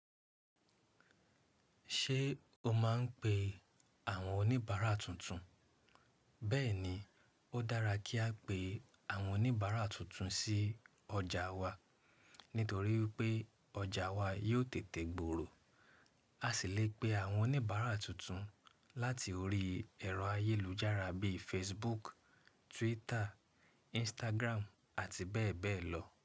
Ṣé o máa ń pe àwọn oníbàárà tuntun? Bẹ́ẹ̀ni, ó dára kí a pe àwọn oníbàárà tuntun sí ọjà wa, nítorí pé ọjà wa yóò tètè gbòòrò. A sì lè pe àwọn oníbàárà tuntun láti orí ẹ̀rọ ayélujára bíi Facebook, Twitter, Instagram àti bẹ́ẹ̀ bẹ́ẹ̀ lọ.